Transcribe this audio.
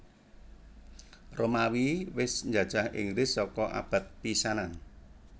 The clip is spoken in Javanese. Romawi wis njajah Inggris saka abad pisanan